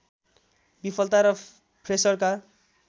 विफलता र फ्रेसरका